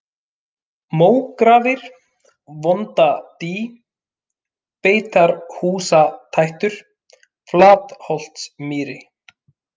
Mógrafir, Vondadý, Beitarhúsatættur, Flatholtsmýri